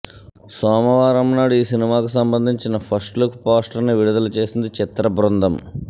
సోమవారం నాడు ఈ సినిమాకు సంబంధించిన ఫస్ట్ లుక్ పోస్టర్ ని విడుదల చేసింది చిత్రబృందం